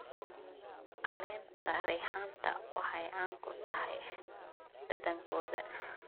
Caleenta reexaanta waxay caan ku tahay dhadhankooda.